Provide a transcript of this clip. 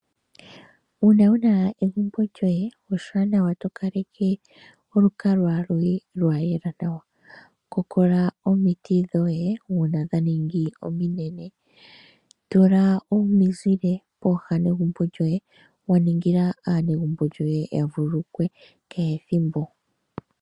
Uuna wuna egumbo lyoye oshiwanawa tokaleke olukalwa lwoye lwayela nawa. Kokola omiti dhoye uuna dha ningi ominene, tula omizile pooha negumbo lyoye wa ningila aanegumbo lyoye ya vululukwe kehe ethimbo.